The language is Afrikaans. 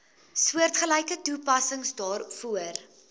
soortgelyke toepassing daarvoor